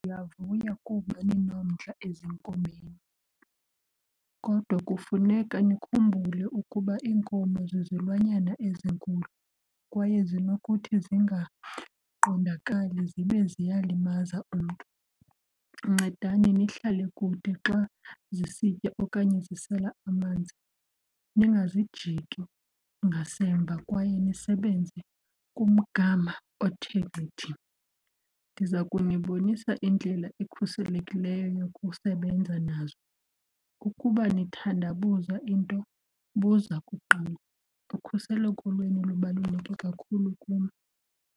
Ndiyavuya kuba ninomdla ezinkomeni kodwa kufuneka nikhumbule ukuba iinkomo zizilwanyana ezinkulu kwaye zinokuthi zingaqondakali zibe ziyalimaza umntu. Ncedani nihlale kude xa zisitya okanye zisela amanzi ndingazijiki ngasemva kwaye nisebenze kumgama othe gcithi. Ndiza kunibonisa indlela ekhuselekileyo yokusebenza nazo. Ukuba nithandabuza into buza kuqala, ukhuseleko lwenu lubaluleke kakhulu kum.